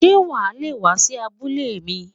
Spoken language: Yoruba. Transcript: Sé wà a le è wá sí abúlé mi?